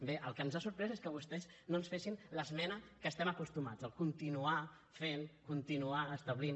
bé el que ens ha sorprès és que vostès no ens fessin l’esmena a què estem acostumats el continuar fent continuar establint